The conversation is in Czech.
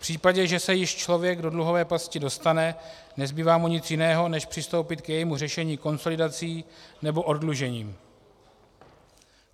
V případě, že se již člověk do dluhové pasti dostane, nezbývá mu nic jiného, než přistoupit k jejímu řešení konsolidací nebo oddlužením.